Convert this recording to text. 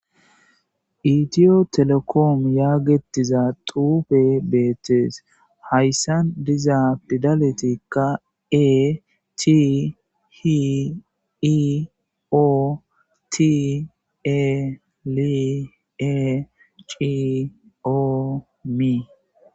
Itiyotelekom yageetetiza xuufey beetees .Haysan diza pidaletika.E,T,H,I,O,T,E,L,E,C,O,M.